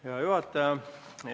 Hea juhataja!